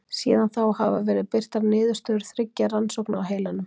Síðan þá hafa verið birtar niðurstöður þriggja rannsókna á heilanum.